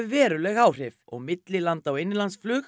veruleg áhrif millilanda og innanlandsflug